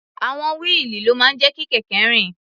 Àwọn wíìlì ló máa ń jẹ́ kí kẹ̀kẹ́ rìn.